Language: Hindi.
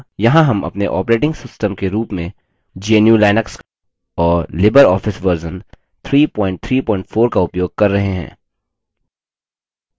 यहाँ हम अपने operating system के रूप में gnu/लिनक्स और libreoffice version 334 का उपयोग कर रहे हैं